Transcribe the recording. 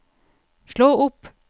slå opp